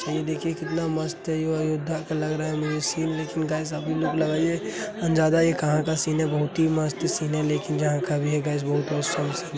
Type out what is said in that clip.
ये देखिये कितना मस्त है। यो अयोध्या का लग रहा है मुझे सीन । लेकिन गाइस आप भी लोग लगाईये अंज़ादा ये कहाँ का सीन है। बोहोत ही मस्त सीन है लेकिन जहाँ का भी है गाइस बोहोत ऑसम सीन --